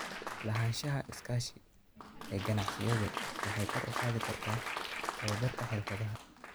Lahaanshaha iskaashi ee ganacsiyadu waxay kor u qaadi kartaa tababarka xirfadaha.